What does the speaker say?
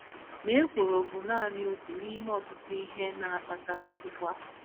Ma ekworo bụ nanị otu n’ime ọtụtụ ihe na - akpata ịkpọasị.